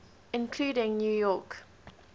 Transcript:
including new york